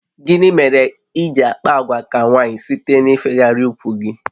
Gịnị mere iji àkpà àgwà ka nwaanyị site n'ifegharị úkwù gị?